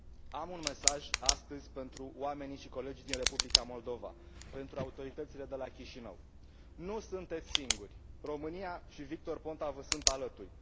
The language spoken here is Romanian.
Am un mesaj astăzi pentru oamenii și colegii din Republica Moldova, pentru autoritățile de la Chișinău Nu sunteți singuri! România și Victor Ponta vă sunt alături!